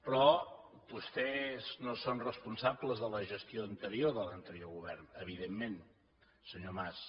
però vostès no són responsables de la gestió anterior de l’anterior govern evidentment senyor mas